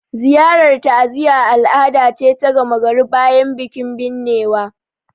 Ziyarar ta'aziyya al'ada ce ta gama gari bayan bikin binnewa